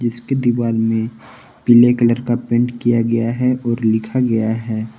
इसके दीवाल में पीले कलर का पेंट किया गया है और लिखा गया है।